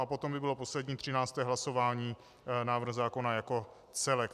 A potom by bylo poslední, třinácté hlasování, návrh zákona jako celek.